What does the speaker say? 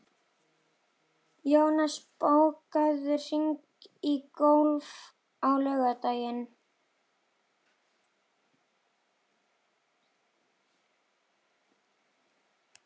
Jónas, bókaðu hring í golf á laugardaginn.